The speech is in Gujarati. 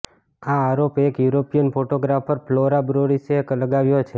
આ આરોપ એક યૂરોપિયન ફોટોગ્રાફર ફ્લોરા બોરસીએ લગાવ્યો છે